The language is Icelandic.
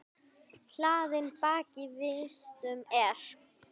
Hlaðinn bakki vistum er.